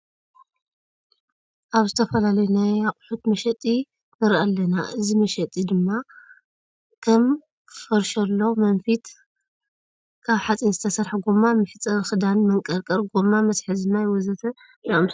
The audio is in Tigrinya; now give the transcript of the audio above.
ኣብዚ ዝተፈላለዩ ናይ ኣቁሕት መሸጢንርኢ ኣለና። እዚ መሸጢ እዚ ድማ ከም ፈርሸሎ፣ መንፊት ካብ ሓፂን ዝተሰርሐ፣ ጎማ ማሕፀቢ ክዳን፣ መንቀርቀር ፣ጎማ መትሓዚ ማይ ወዘተ ዝኣምሰሉ ንርኢ ኣለና።